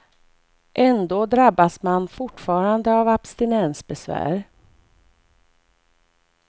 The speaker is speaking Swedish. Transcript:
Ända drabbas man fortfarande av abstinensbesvär.